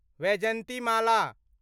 Vyjayanthimala